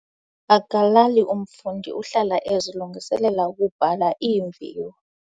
Akalali umfundi uhlala ezilungiselela ukubhala iimviwo.